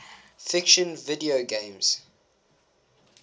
fiction video games